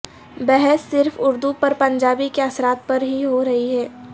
بحث صرف اردو پر پنجابی کے اثرات پر ہی ہورہی ہے